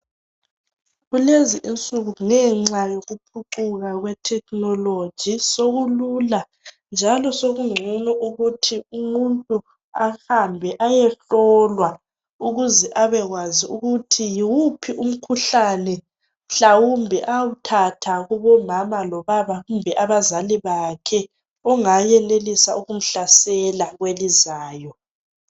Kulezi insuku ngenxa yokuphucuka kwethekhinoloji, sokulula njalo sokungcono ukuthi umuntu ahambe ayehlolwa ukuze abekwazi ukuthi yiwuphi umkhuhlane mhlawumbe awuthatha kubomama lobaba, kumbe abazali bakhe ongayenelisa ukumhlasela kwelizayo.